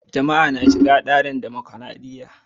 Jama'a na shiga cikin tsarin mulkin dimokradiyya.